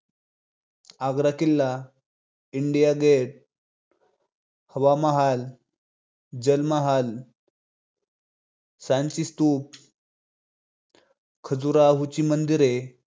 आग्रा किल्ला, India gate, हवा महाल, जल महाल, सांचीस्तूप, खजुराहोची मंदिरे